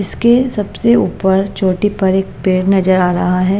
इसके सबसे ऊपर चोटी पर एक पेड़ नजर आ रहा है।